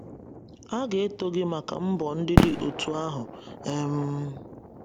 A ga-eto gị maka mbọ ndị dị otú ahụ. um